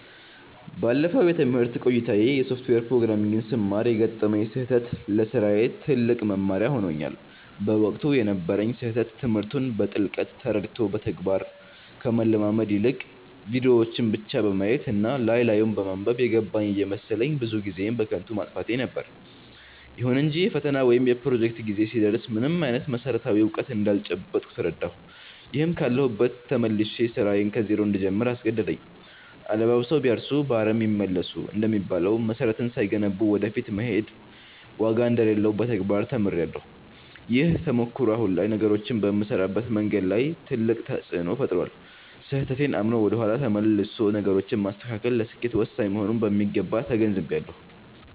ባለፈው የትምህርት ቆይታዬ የሶፍትዌር ፕሮግራሚንግን ስማር የገጠመኝ ስህተት ለስራዬ ትልቅ መማሪያ ሆኖኛል። በወቅቱ የነበረኝ ስህተት ትምህርቱን በጥልቀት ተረድቶ በተግባር ከመለማመድ ይልቅ፣ ቪዲዮዎችን ብቻ በማየት እና ላይ ላዩን በማንበብ 'የገባኝ' እየመሰለኝ ብዙ ጊዜዬን በከንቱ ማጥፋቴ ነበር። ይሁን እንጂ የፈተና ወይም የፕሮጀክት ጊዜ ሲደርስ ምንም አይነት መሰረታዊ እውቀት እንዳልጨበጥኩ ተረዳሁ፤ ይህም ካለሁበት ተመልሼ ስራዬን ከዜሮ እንድጀምር አስገደደኝ።' አለባብሰው ቢያርሱ በአረም ይመለሱ' እንደሚባለው፣ መሰረትን ሳይገነቡ ወደ ፊት መሄድ ዋጋ እንደሌለው በተግባር ተምሬያለሁ። ይህ ተሞክሮ አሁን ላይ ነገሮችን በምሰራበት መንገድ ላይ ትልቅ ተፅእኖ ፈጥሯል። ስህተቴን አምኖ ወደ ኋላ ተመልሶ ነገሮችን ማስተካከል ለስኬት ወሳኝ መሆኑንም በሚገባ ተገንዝቤያለሁ።